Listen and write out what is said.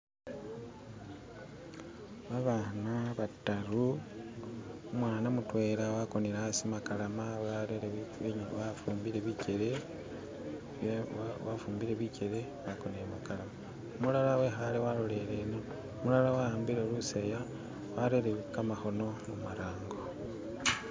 babaana bataru umwana mutwela akonele asi makalama wafumbile bikyele umulala wehale walolere umulala wawambile lusaaya warere kamahono humarango